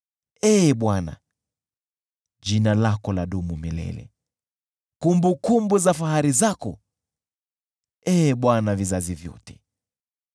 Ee Bwana , jina lako ladumu milele, kumbukumbu za fahari zako, Ee Bwana , kwa vizazi vyote.